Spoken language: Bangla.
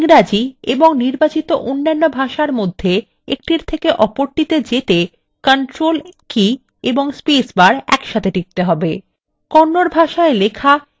সুতরাং control key ও space bar একসাথে ইংরেজি ও নির্বাচিত অন্যান্য ভাষার মধ্যে একটির থেকে আরেকটিতে যেতে সাহায্য করে